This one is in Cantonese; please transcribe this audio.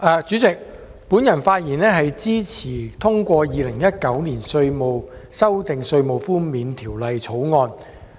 主席，我發言支持三讀通過《2019年稅務條例草案》。